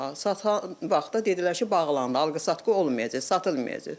Satan vaxtı dedilər ki, bağlandı, alqı-satqı olmayacaq, satılmayacaq.